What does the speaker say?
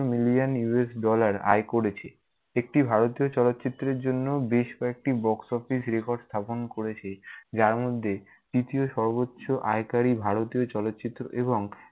millionUSdollar আয় করেছে। একটি ভারতীয় চলচ্চিত্রের জন্য বেশ কয়েকটি box office record স্থাপন করেছে, যার মধ্যে তৃতীয় সর্বোচ্চ আয়কারী ভারতীয় চলচ্চিত্র এবং